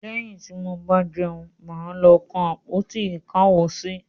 Lẹ́yìn tí mo bá jẹun, mà á lọ kan àpótí-ìkáwosí.